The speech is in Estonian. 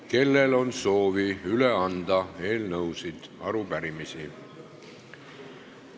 Kellel on soovi üle anda eelnõusid või arupärimisi?